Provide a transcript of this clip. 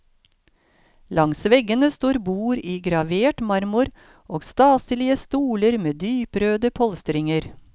Langs veggene står bord i gravert marmor og staselige stoler med dyprøde polstringer.